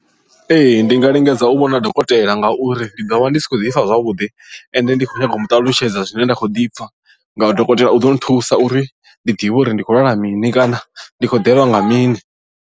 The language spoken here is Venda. Ee ndi nga lingedza u vhona dokotela ngauri ndi ḓo vha ndi si khou ḓifha zwavhuḓi ende ndi khou nyanga u muṱalutshedza zwine nda khou ḓipfa ngauri dokotela u ḓo nthusa uri ndi ḓivhe uri ndi khou lwala mini kana ndi khou ḓelwa nga mini.